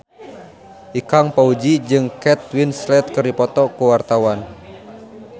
Ikang Fawzi jeung Kate Winslet keur dipoto ku wartawan